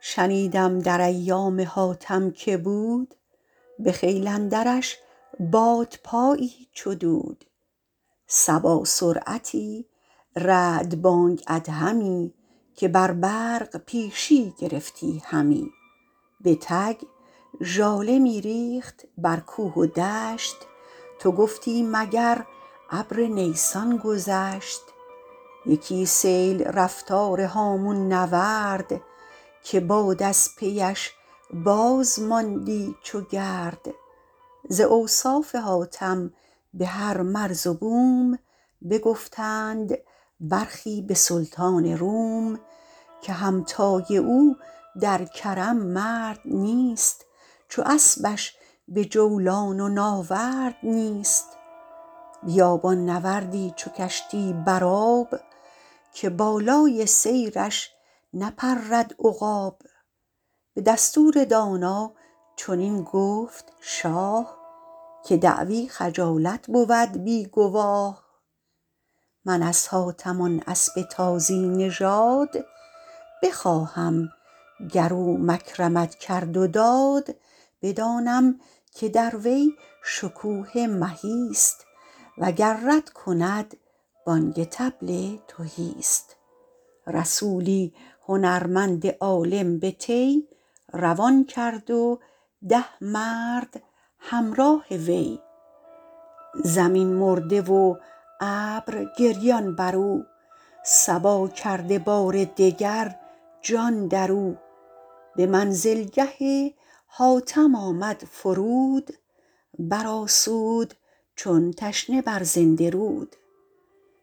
شنیدم در ایام حاتم که بود به خیل اندرش بادپایی چو دود صبا سرعتی رعد بانگ ادهمی که بر برق پیشی گرفتی همی به تک ژاله می ریخت بر کوه و دشت تو گفتی مگر ابر نیسان گذشت یکی سیل رفتار هامون نورد که باد از پی اش باز ماندی چو گرد ز اوصاف حاتم به هر مرز و بوم بگفتند برخی به سلطان روم که همتای او در کرم مرد نیست چو اسبش به جولان و ناورد نیست بیابان نورد ی چو کشتی بر آب که بالای سیرش نپرد عقاب به دستور دانا چنین گفت شاه که دعوی خجالت بود بی گواه من از حاتم آن اسب تازی نژاد بخواهم گر او مکرمت کرد و داد بدانم که در وی شکوه مهی ست وگر رد کند بانگ طبل تهی ست رسولی هنرمند عالم به طی روان کرد و ده مرد همراه وی زمین مرده و ابر گریان بر او صبا کرده بار دگر جان در او به منزل گه حاتم آمد فرود بر آسود چون تشنه بر زنده رود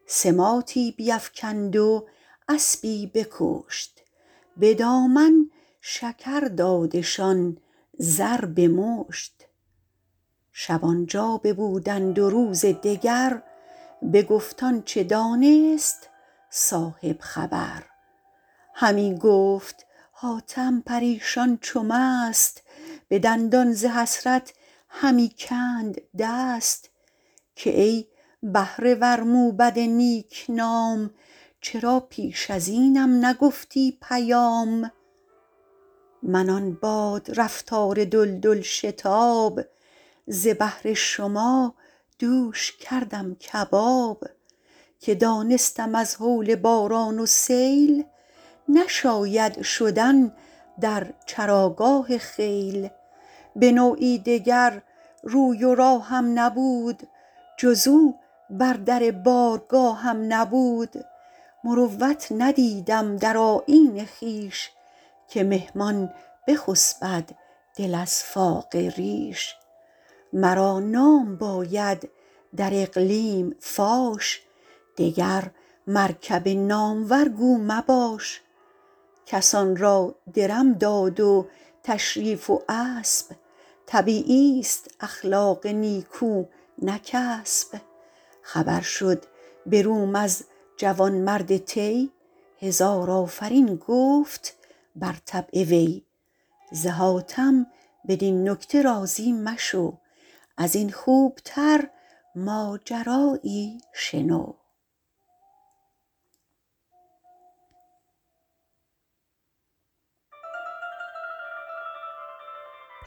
سماطی بیفکند و اسبی بکشت به دامن شکر دادشان زر به مشت شب آن جا ببودند و روز دگر بگفت آنچه دانست صاحب خبر همی گفت حاتم پریشان چو مست به دندان ز حسرت همی کند دست که ای بهره ور موبد نیک نام چرا پیش از اینم نگفتی پیام من آن باد رفتار دلدل شتاب ز بهر شما دوش کردم کباب که دانستم از هول باران و سیل نشاید شدن در چراگاه خیل به نوعی دگر روی و راهم نبود جز او بر در بارگاهم نبود مروت ندیدم در آیین خویش که مهمان بخسبد دل از فاقه ریش مرا نام باید در اقلیم فاش دگر مرکب نامور گو مباش کسان را درم داد و تشریف و اسب طبیعی ست اخلاق نیکو نه کسب خبر شد به روم از جوانمرد طی هزار آفرین گفت بر طبع وی ز حاتم بدین نکته راضی مشو از این خوب تر ماجرا یی شنو